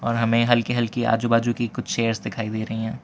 और हमें हल्की हल्की आजू बाजू की कुछ चेयर्स दिखाई दे रही हैं।